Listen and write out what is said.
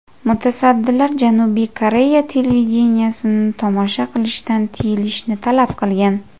Mutassaddilar Janubiy Koreya televideniyesini tomosha qilishdan tiyilishni talab qilgan.